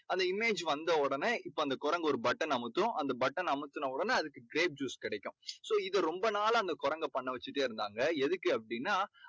அந்த image வந்த உடனே இப்போ அந்த குரங்கு ஒரு button னை அமுத்தும். அந்த button னை அமுத்தின உடனே அதுக்கு grape juice கிடைக்கும். so இதை ரொம்ப நாளா அந்தக் குரங்கை பண்ண வெச்சுக்கிட்டே இருந்தாங்க. எதுக்கு அப்படீன்னா